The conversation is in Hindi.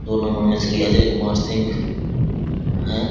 दो नंबर मे श्री अजय कुमार सिंह हैं।